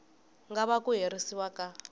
nga vanga ku herisiwa ka